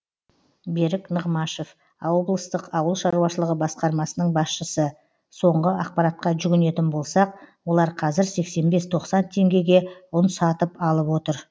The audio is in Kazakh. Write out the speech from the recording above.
берік нығмашев облыстық ауыл шаруашылығы басқармасының басшысы соңғы ақпаратқа жүгінетін болсақ олар қазір сексен бес тоқсан теңгеге ұн сатып алып отыр